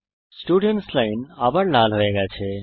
students line আবার লাল হয়ে গেছে